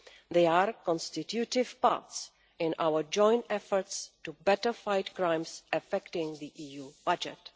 They are constitutive parts in our joint efforts to better fight crimes affecting the EU budget.